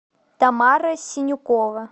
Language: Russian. тамара синюкова